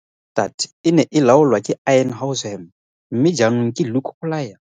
Ofisi ya kwa Kokstad e ne e laolwa ke Ian Househam mme jaanong ke Luke Collier.